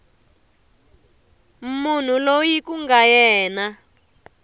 munhu loyi ku nga yena